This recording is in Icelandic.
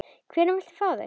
Hvenær viltu fá þau?